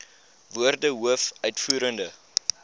woorde hoof uitvoerende